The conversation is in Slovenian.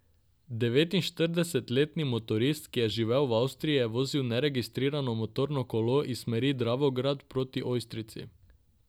Devetinštiridesetletni motorist, ki je živel v Avstriji, je vozil neregistrirano motorno kolo iz smeri Dravograda proti Ojstrici.